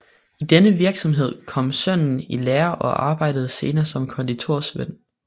I denne virksomhed kom sønnen i lære og arbejdede senere som konditorsvend